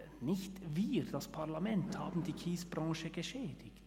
Nicht wir, das Parlament, haben die Kiesbranche geschädigt.